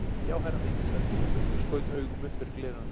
Já herra minn, sagði Guðmundur og skaut augum upp fyrir gleraugun.